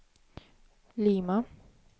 Lima